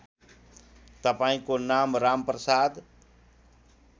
तपाईँको नाम रामप्रसाद